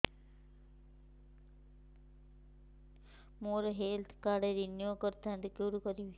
ମୋର health card renew କରିଥାନ୍ତି କୋଉଠି କରିବି